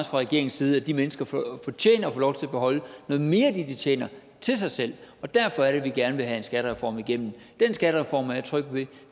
fra regeringens side at de mennesker fortjener at få lov til at beholde noget mere af det de tjener til sig selv og derfor er det at vi gerne vil have en skattereform igennem den skattereform er jeg tryg ved at